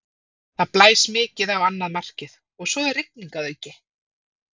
Það blæs mikið á annað markið og svo er rigning að auki.